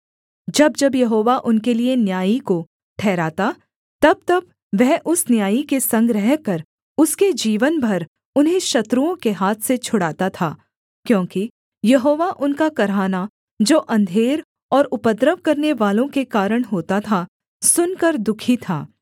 जब जब यहोवा उनके लिये न्यायी को ठहराता तबतब वह उस न्यायी के संग रहकर उसके जीवन भर उन्हें शत्रुओं के हाथ से छुड़ाता था क्योंकि यहोवा उनका कराहना जो अंधेर और उपद्रव करनेवालों के कारण होता था सुनकर दुःखी था